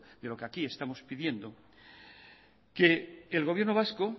de lo que aquí estamos pidiendo que el gobierno vasco